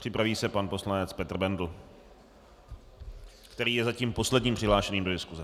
Připraví se pan poslanec Petr Bendl, který je zatím posledním přihlášeným do diskuse.